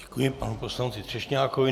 Děkuji panu poslanci Třešňákovi.